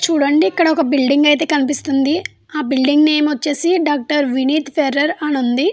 చూడండి ఇక్కడ ఒక బిల్డింగ్ అయితే కనిపిస్తుంది. ఆ బిల్డింగు నేమ్ వచ్చేసి డాక్టర్ వినీత్ ఫెర్రర్ అని ఉంది.